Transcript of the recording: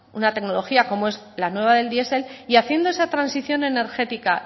una tecnología como es la nueva del diesel y haciendo esa transición energética